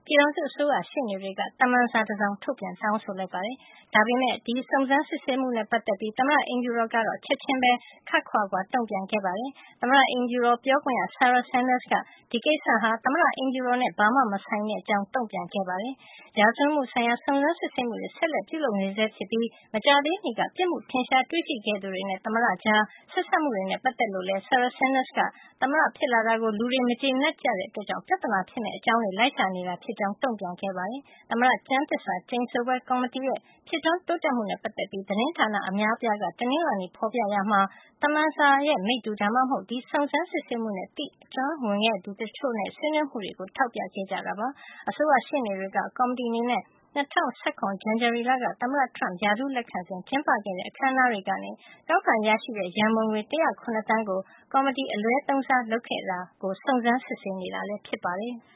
ပြည်ထောင်စုအစိုးရ ရှေ့နေတွေက သမ္မန်စာတစောင် ထုတ်ပြန်တောင်းဆိုလိုက်ပါတယ်။ ဒါပေမယ့် ဒီစုံစမ်း စစ်ဆေးမှုနဲ့ ပတ်သက်ပြီး သမ္မတအိမ်ဖြူတော်ကတော့ ချက်ချင်းပဲ ခပ်ခွါခွါတုန့် ပြန်ခဲ့ပါတယ်။ သမ္မတ အိမ်ဖြူတော် ပြောခွင့်ရ Sarah Sanders က ဒီကိစ္စဟာ သမ္မတအိမ်ဖြူတော်နဲ့ ဘာမှ မဆိုင်တဲ့ အကြောင်း တုံ့ပြန်ခဲ့ပါတယ်။ ရာဇဝတ်မှု ဆိုင်ရာ စုံစမ်း စစ်ဆေးမှုတွေ ဆက်လက် ပြုလုပ်နေဆဲ ဖြစ်ပြီး မကြာသေးမီက ပြစ်မှု ထင်ရှား တွေ့ရှိခဲ့သူတွေနဲ့ သမ္မတကြား ဆက်စပ်မှုတွေနဲ့ ပတ်သက်လို့လည်း Sanders က သမ္မတဖြစ်လာတာကို လူတွေက မကြေနပ်ကြတဲ့ အတွက်ကြောင့် ပြဿနာ ဖြစ်မယ့် အကြောင်းတွေကို လိုက်ရှာနေတာ ဖြစ်ကြောင်းတုန့်ပြန်ခဲ့ပါတယ်။ သမ္မတ ကျမ်းသစ္စာ ကျိန်ဆိုပွဲ ကော်မတီရဲ့ ဖြစ်ထွန်းတိုးတက်မှု နဲ့ ပတ်သက်လို့ သတင်းဌာန အများအပြားက တနင်္လာနေ့က ဖေါ်ပြခဲ့ကြရာမှာ သမ္မန်စာရဲ့မိတ္တူ ဒါမှမဟုတ် ဒီစုံစမ်း စစ်ဆေးမှုနဲ့ သိအကျွမ်းဝင်တဲ့သူတချို့နဲ့ ဆွေးနွေးမှုတွေကို ထောက်ပြခဲ့ကြပါတယ်။ အအစိုးရ ရှေ့နေတွေက ကော်မတီ အနေနဲ့ ၂၀၁၇ ဇန်နဝါရီလက သမ္မတ Trump ရာထူးလက်ခံစဉ် ကျင်းပခဲ့တဲ့ အခန်းနားတွေကနေ ကောက်ခံရရှိတဲ့ ရံပုံငွေ ၁၀၇ သန်းကို ကော်မတီက အလွဲသုံးစား လုပ်ခဲ့တာကို စုံစမ်း စစ်ဆေးနေတာ ဖြစ်ပါတယ်။